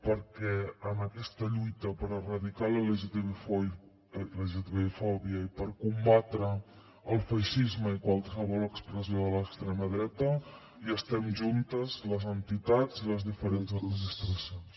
perquè en aquesta lluita per erradicar la lgtbi fòbia i per combatre el feixisme i qualsevol expressió de l’extrema dreta hi estem juntes les entitats i les diferents administracions